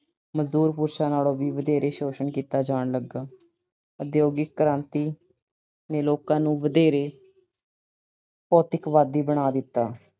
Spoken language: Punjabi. ਮਜ਼ਦੂਰ ਪੁਰਸ਼ ਦੇ ਬੱਚਿਆਂ ਨਾਲੋਂ ਵੀ ਵਧੇਰੇ ਸ਼ੋਸ਼ਣ ਕੀਤਾ ਜਾਣ ਲੱਗਾ। ਉਦਯੋਗਿਕ ਕ੍ਰਾਂਤੀ ਨੇ ਲੋਕਾਂ ਨੇ ਵਧੇਰੇ ਭੌਤਿਕਵਾਦੀ ਬਣਾ ਦਿੱਤਾ